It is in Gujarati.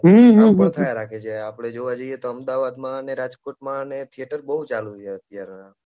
આ થયા રાખે છે આપણે જોવા જઈએ તો અમદાવાદમાં અને રાજકોટમાં ને થિયેટર બહુ ચાલુ છે અત્યારે